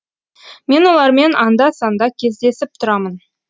мен олармен анда санда кездесіп тұрамын